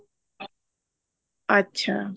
ਅੱਛਾ